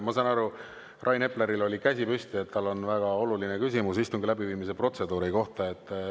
Ma saan aru, et Rain Epleril on käsi püsti, sest tal on väga oluline küsimus istungi läbiviimise protseduuri kohta.